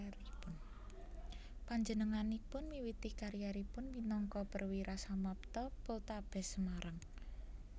Panjenenganipun miwiti kariéripun minangka Perwira Samapta Poltabes Semarang